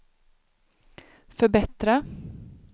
förbättra